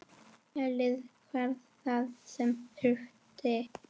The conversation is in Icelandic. Héðinn hafði það sem þurfti.